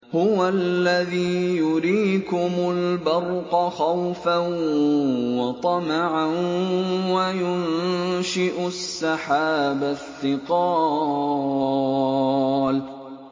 هُوَ الَّذِي يُرِيكُمُ الْبَرْقَ خَوْفًا وَطَمَعًا وَيُنشِئُ السَّحَابَ الثِّقَالَ